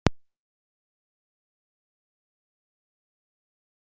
Ég ræddi við dómarann eftir leikinn, en hverju breytir það?